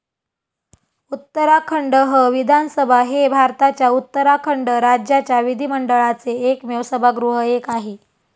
उत्तराखंडह विधानसभा हे भारताच्या उत्तराखंड राज्याच्या विधिमंडळाचे एकमेव सभागृह एक आहे.